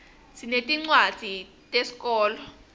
sinetincuadzi teszkolo